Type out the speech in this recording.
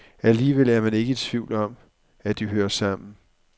Alligevel er man ikke i tvivl om, at de hører sammen.